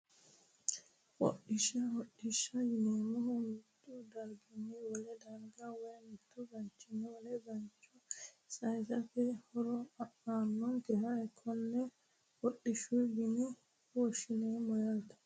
Hodhishsha hodhishshaho yineemmohu mittu darginni wole darga woyi mittu bayichinni wole baycho saysate horo aannonkeha konne hodhishshaho yine woshshineemmo yaate